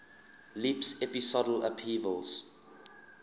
leaps episodal upheavals